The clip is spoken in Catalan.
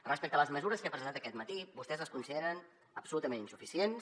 respecte a les mesures que he presentat aquest matí vostès les consideren absolutament insuficients